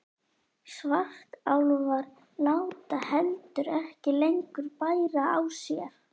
Svartálfar láta heldur ekki lengur bæra á sér.